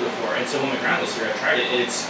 before and so when my grandma was here I tried it, and it's